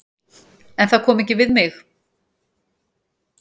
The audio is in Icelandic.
En það kom ekki við mig.